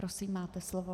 Prosím, máte slovo.